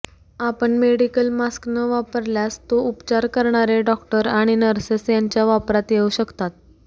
आपण medical mask न वापरल्यास तो उपचार करणारे डॉक्टर आणि नर्सेस यांच्या वापरात येऊ शकतात